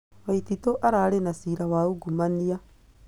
Waititũ ararĩ na ciira wa uungumania